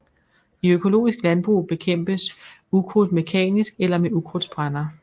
I økologisk landbrug bekæmpes ukrudt mekanisk eller med ukrudtsbrænder